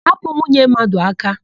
Hapụ nwunye mmadụ aka!